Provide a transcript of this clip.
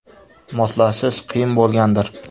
Moslashish qiyin bo‘lgandir?